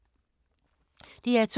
DR2